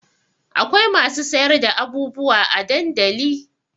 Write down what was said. Akwai masu sayar da abubuwa a dandali